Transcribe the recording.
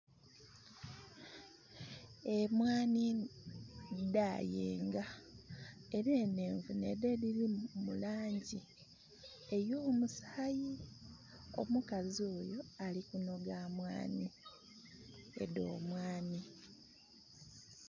Emwanhi dha yenga era enhenvu ne dho edhiri mulangi eyomusaayi. Omukazi oyo alikunhoga mmwanhi edho mmwanhi.